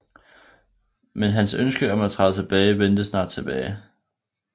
Men hans ønske om at træde tilbage vendte snart tilbage